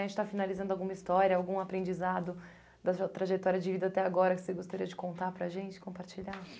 A gente está finalizando alguma história, algum aprendizado da sua trajetória de vida até agora que você gostaria de contar para a gente, compartilhar?